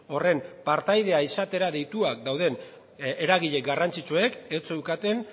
horren partaidea izatera deituak dauden eragile garrantzitsuek ez zeukaten